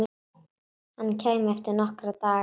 Hann kæmi eftir nokkra daga.